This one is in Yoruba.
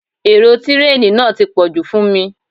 Èrò tireeni náà ti pọ̀jù fún mi.